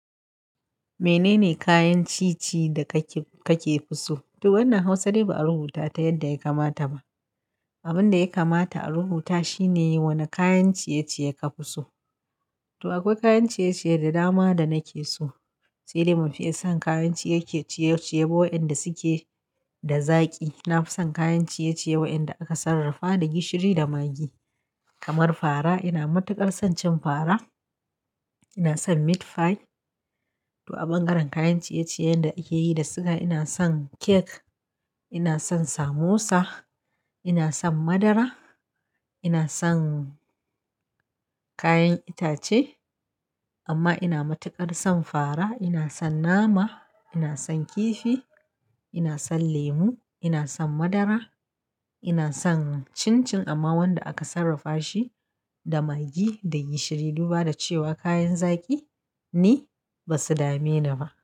Menene kayan ci-ci da ka ke fuso? To wannan Hausa dai ba a rubuta ta yadda ya kamata ba. Abin da ya kamata a rubuta shine wane kayan ciye-ciye ka fiso. To akwai kayan ciye-ciye da dama da na ke so. Sai dai ban fiye son kayan ciye-ciye waɗanda suke da zaƙi. Na fi son kayan ciye-ciye waɗanda aka sarrafa da gishiri da magi, kamar fara. Ina matuƙar son cin fara. Ina son meat pie. To a ɓangaren kayan ciye-ciyen da ake yi da suga, ina son kek. Ina son samosa. Ina son madara. Ina son kayan itace. Amma ina matuƙar son fara. Ina son nama. Ina son kifi. Ina son lemu. Ina son madara. Ina son cin-cin amma wanda aka sarrafa shi da magi da gishiri. Duba da cewa kayan zaƙi ni, ba su dame ni ba.